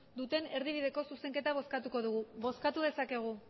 duten erdibideko zuzenketa bozkatuko dugu bozkatu dezakegu